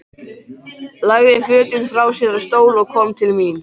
Lagði fötin frá sér á stól og kom til mín.